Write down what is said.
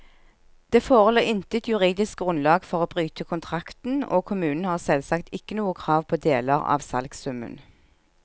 Det forelå intet juridisk grunnlag for å bryte kontrakten, og kommunen har selvsagt ikke noe krav på deler av salgssummen.